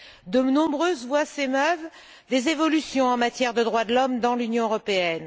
De nombreuses voix s'émeuvent des évolutions en matière de droits de l'homme dans l'Union européenne.